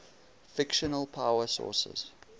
fictional power sources